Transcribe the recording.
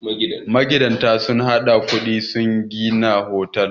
magidanta sun haɗa kudi sun gina Bohol